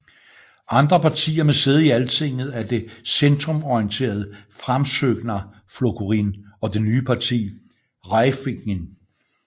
Andre partier med sæde i Altinget er det centrumorienterede Framsóknarflokkurinn og det nye parti Hreyfingin